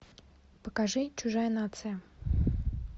покажи чужая нация